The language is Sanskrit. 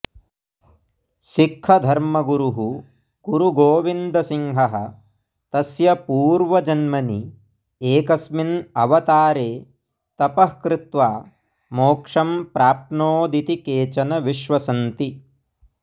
सिक्खधर्मगुरुः गुरुगोविन्दसिंहः तस्य पूर्वजन्मनि एकस्मिन् अवतारे तपः कृत्वा मोक्षं प्राप्नोदिति केचन विश्वसन्ति